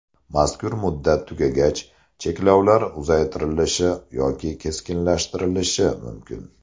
Mazkur muddat tugagach cheklovlar uzaytirilishi yoki keskinlashtirilishi mumkin.